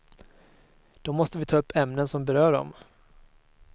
Då måste vi ta upp ämnen som berör dem.